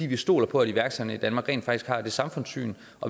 vi stoler på at iværksætterne i danmark rent faktisk har det samfundssyn